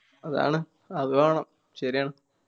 അതാണ്. അത് വേണം ശെരിയാണ്